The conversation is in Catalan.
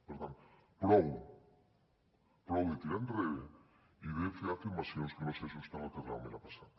per tant prou prou de tirar enrere i de fer afirmacions que no s’ajusten al que realment ha passat